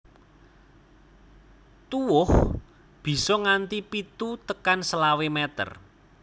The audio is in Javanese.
Tuwuh bisa nganti pitu tekan selawe meter